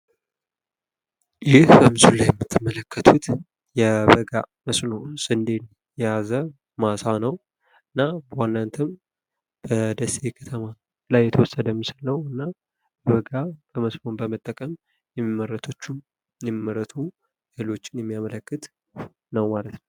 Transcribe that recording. ይህ በምስሉ ላይ የምትመለከቱት የበጋ መስኖ ስንዴ የያዘ ማሳ ነው። እና በዋነንትም በደሴ ከተማ ላይ የተወሰደ ምስል ነው እና የበጋ መስኖ በመጠቀም የሚመረቱ ሰብሎችን የሚያመለክት ነው ማለት ነው።